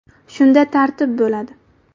Shunda tartib bo‘ladi!